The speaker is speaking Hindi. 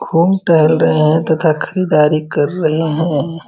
घूम टहल रहे हैं तथा खरीदारी कर रहे हैं।